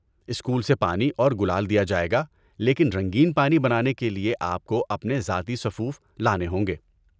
School سے پانی اور گلال دیا جائے گا، لیکن رنگین پانی بنانے کے لیے آپ کو اپنے ذاتی سفوف لانے ہوں گے۔